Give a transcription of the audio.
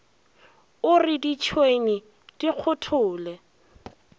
o re ditšhwene di kgothole